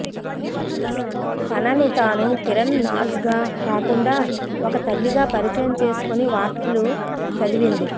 తనని తాను కిరణ్ నాజ్ గా కాకుండా ఒక తల్లిగా పరిచయం చేసుకొని వార్తలు చదివింది